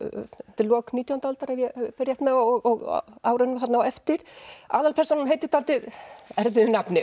undir lok nítjándu aldar ef ég fer rétt með og á árunum þarna á eftir aðalpersónan heitir dálítið erfiðu nafni